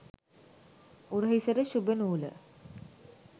උරහිසට ශුභ නූල